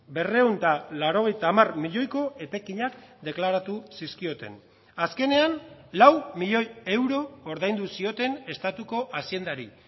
berrehun eta laurogeita hamar milioiko etekinak deklaratu zizkioten azkenean lau milioi euro ordaindu zioten estatuko haziendari